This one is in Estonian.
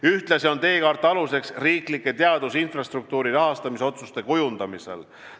Ühtlasi on teekaart aluseks riiklike teaduse infrastruktuuri rahastamisotsuste kujundamisel.